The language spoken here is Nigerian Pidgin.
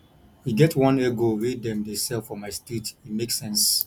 e get one egg roll wey dem dey sell for my street e make sense